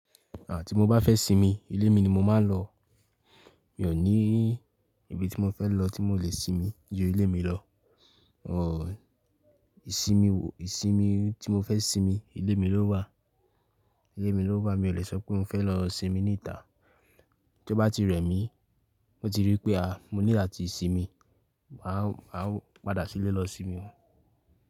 À ti mo bá fẹ́ sinmi, ilé mi ni mo máa ń lọ. Mi ò ní ibi tí mo fẹ́ lọ tí mo lè sinmi ju ilé mi lọ. Òò, ìsinmi, ìsinmi tí mo fẹ́ sinmi, ilé mi ló wà, ilé mi ló wà. Mi ò lè sọ pé n o fẹ́ lọ sinmi ní ìta. Tí ó bá ti rẹ̀ mí, mo ti rí pé àáà, mo nilo atí ìsinmi, máa, máa padà sílé lọ sinmi.